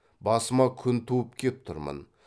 басыма күн туып кеп тұрмын